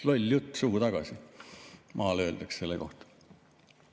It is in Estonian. "Loll jutt suhu tagasi!" öeldakse maal selle kohta.